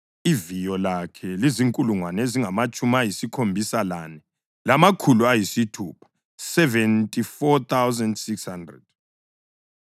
Iviyo lakhe lizinkulungwane ezingamatshumi ayisikhombisa lane, lamakhulu ayisithupha (74,600).